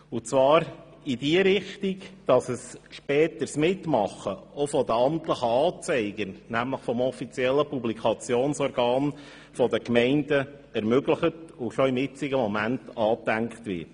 Und zwar sollte dies in die Richtung gehen, dass ein späteres Mitmachen der Amtlichen Anzeiger, nämlich der offiziellen Publikationsorgane der Gemeinden, ermöglicht und bereits zum heutigen Zeitpunkt angedacht wird.